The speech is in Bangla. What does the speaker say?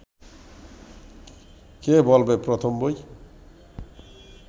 কে বলবে প্রথম বই